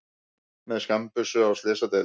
Með skammbyssu á slysadeild